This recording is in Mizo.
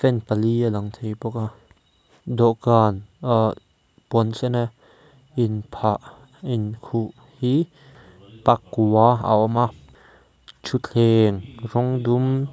pali a lang thei bawk a dawhkan ah puan sen a in phah in khuh hi pakua a awm a thutthleng rawng dum.